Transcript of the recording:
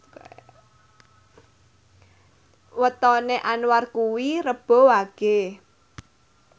wetone Anwar kuwi Rebo Wage